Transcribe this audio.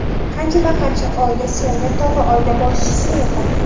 Qanchadan-qancha oila suyangan tog‘i, oila boshisini yo‘qotdi.